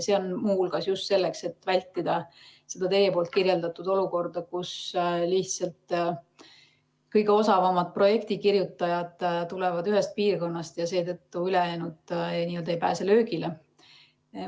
See on muu hulgas just selleks, et vältida teie kirjeldatud olukorda, kus lihtsalt kõige osavamad projektikirjutajad tulevad ühest piirkonnast ja seetõttu ülejäänud ei pääse löögile.